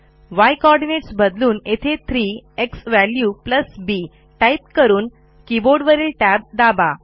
य कोऑर्डिनेट्स बदलून येथे 3 झ्वॅल्यू bटाईप करून कीबोर्डवरील टॅब दाबा